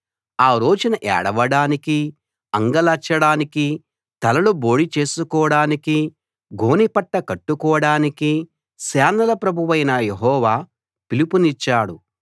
ఆ రోజున ఏడవడానికీ అంగలార్చడానికీ తలలు బోడి చేసుకోడానికీ గోనె పట్ట కట్టుకోడానికీ సేనల ప్రభువైన యెహోవా పిలుపునిచ్చాడు